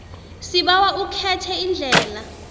sibawa ukhethe iindlela